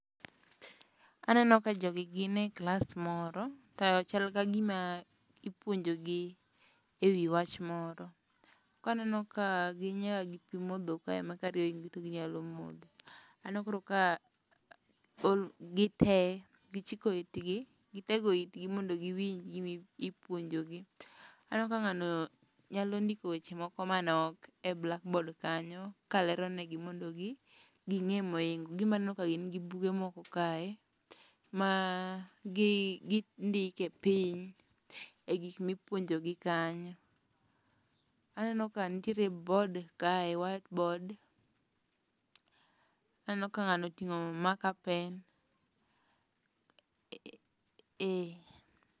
Aneno ka jogi gin e klas moro to chal ka gima ipuonjogi e wi wach moro. Aneno ka gin nyaka gi pi modho kae ma ka riyo oingi to inyalo modho. Aneno koro ka gi tee gichiko itgi gitego itgi mondo giwinj gimipuonjo gi. Aneno ka ng'ano nyalo ndiko weche moko manok e blackboard kanyo ka lero ne gi mondo gi ging'e. Gimbe aneno ka gin gi buge moko kae ma ma gindike piny e gik mipuonjogi kanyo. Aneno ka nitie board kae, whiteboard. Aneno ka ng'ano oting'o markerpen.